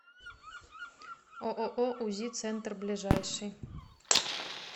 ооо узи центр ближайший